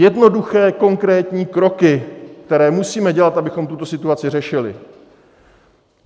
Jednoduché, konkrétní kroky, které musíme dělat, abychom tuto situaci řešili.